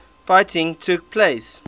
fighting took place